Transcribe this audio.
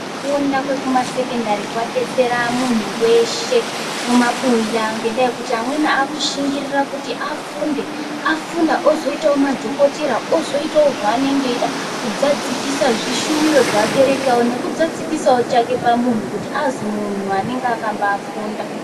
Kufunda kwekumasekendari kwadetsera muntu weshe mumabuya ngendaa yekuti, amweni aakushingirira kuti afunde. Afunda ozoitawo madhokotera, ozoitawo zvaanenge eiida, kuzadzikisa zvishuwiro zveabereki awo, nekuzadzikisa chake pamunhu, kuti azi munhu anenga akabaafunda.